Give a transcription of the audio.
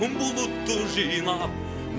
бұлытты жинап